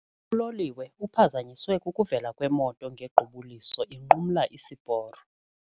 Uloliwe uphazanyiswe kukuvela kwemoto ngequbuliso inqumla isiporo.